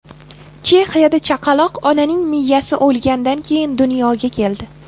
Chexiyada chaqaloq onaning miyasi o‘lgandan keyin dunyoga keldi.